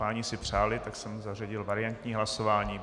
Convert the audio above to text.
Páni si přáli, tak jsem zařadil variantní hlasování.